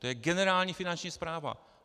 To je generální finanční správa.